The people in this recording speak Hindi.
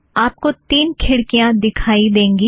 आप को तीन खिड़कियाँ दिखाई देंगी